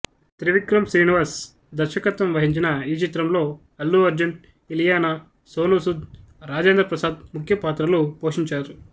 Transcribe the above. త్రివిక్రమ్ శ్రీనివాస్ దర్శకత్వం వహించిన ఈ చిత్రంలో అల్లు అర్జున్ ఇలియానా సోను సూద్ రాజేంద్ర ప్రసాద్ ముఖ్యపాత్రలు పొషించారు